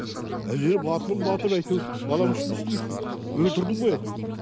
әзер батылым батып әйтеуір балаң үшін не істемейсің өлтірдім ғой әйтеуір